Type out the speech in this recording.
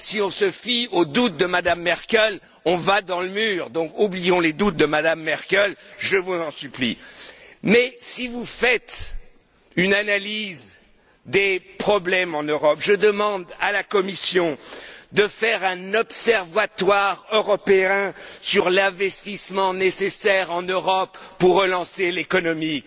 Si on se fie aux doutes de Mme Merkel, on va dans le mur. Alors oublions les doutes de Mme Merkel, je vous en supplie! Si vous faites une analyse des problèmes en Europe, je demande à la Commission de créer un observatoire européen sur l'investissement nécessaire en Europe pour relancer l'économie.